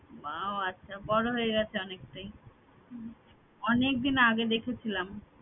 বা ও আচ্ছা বড় হয়ে গেছে অনেকটাই, অনেকদিন আগে দেখেছিলাম